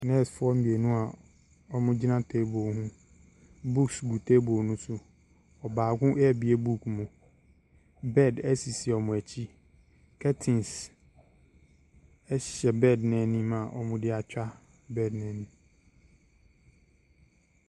Nursefoɔ mmienu a wɔgyina table ho. Books gu table no so. Ɔbaako rebue book mu. Bed sisi wɔn akyi. Curtens hyɛ bed no n'anim a wɔde atwaa bed no anim.